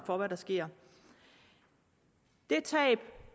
for hvad der sker et tab